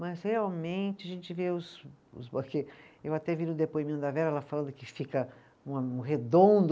Mas realmente a gente vê os., os eu até vi no depoimento da Vera, ela falando que fica uma, um redondo.